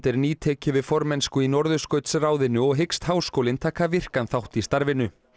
er nýtekið við formennsku í Norðurskautsráðinu og hyggst háskólinn taka virkan þátt í starfinu